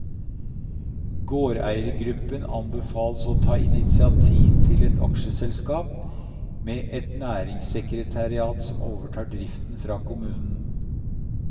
Gårdeiergruppen anbefales å ta initiativ til et aksjeselskap, med et næringssekretariat som overtar driften fra kommunen.